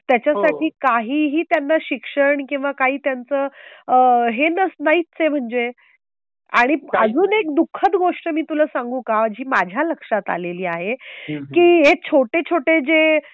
त्याच्या साठी काहीही त्यांना शिक्षण किंवा काही त्याचं हे नाहीचय म्हणजे आणि अजून एक दु:खद गोष्ट मी तुला सांगू का? जी माझ्या लक्षात आलेली आहे. की हे छोटे छोटे जे,